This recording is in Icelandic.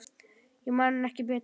Ég man ekki betur.